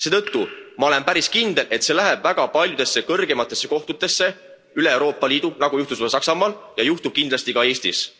Seetõttu ma olen päris kindel, et see läheb väga paljudesse kõrgematesse kohtutesse üle Euroopa Liidu, nagu juhtus see Saksamaal ja juhtub kindlasti ka Eestis.